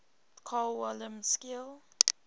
carl wilhelm scheele